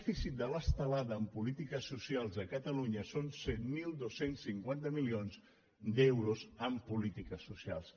cit de l’estelada en polítiques socials a catalunya són set mil dos cents i cinquanta milions d’euros en polítiques socials